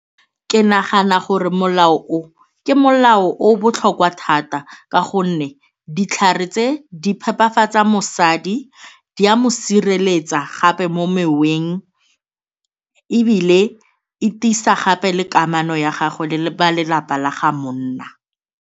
Ke nagana gore molao o, ke molao o o botlhokwa thata ka gonne ditlhare tse di phepafatsa mosadi, di a mo sireletsa gape mo meweng ebile e tiisa gape le kamano ya gagwe le balelapa la ga monna.